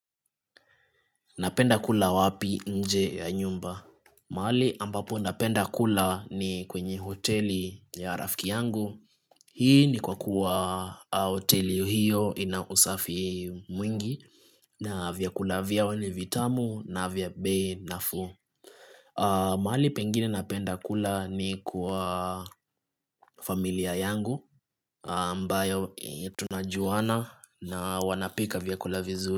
Napenda kula wapi nje ya nyumba? Mahali ambapo napenda kula ni kwenye hoteli ya rafiki yangu Hii ni kwa kuwa hoteli hiyo ina usafi mwingi na vyakula vyao ni vitamu na vya bei nafuu mahali pengine napenda kula ni kwa familia yangu ambayo tunajuana na wanapika vyakula vizuri.